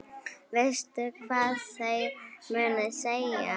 Veistu hvað þeir munu segja?